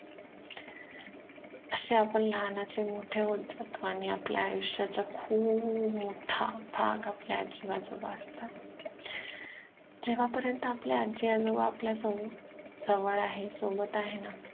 असे आपण लहानाचे मोठे होत जातो आणि आपल्या आयुष्याचा खूप मोठा भाग आपले आजी आजोबा असतात जेव्हा पर्यंत आपले आजी आजोबा आपल्या जवळआहे सोबत आहेना